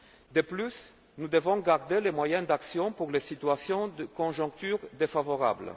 public? De plus, nous devons garder des moyens d'action pour les situations de conjoncture défavorable.